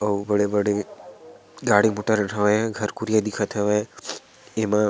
अउ बड़े-बड़े गाड़ी मोटर होये घर कोरिया दिखत हवे एमा--